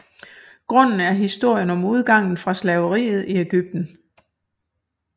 Grunden er historien om udgangen fra slaveriet i Egypten